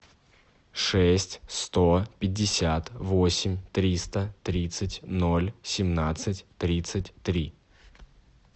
шесть сто пятьдесят восемь триста тридцать ноль семнадцать тридцать три